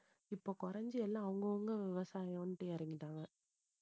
இப்ப குறைஞ்சு எல்லாம் அவங்கவங்க விவசாயம்ன்ட்டு இறங்கிட்டாங்க